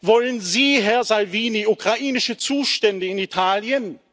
Wollen Sie, Herr Salvini, ukrainische Zustände in Italien?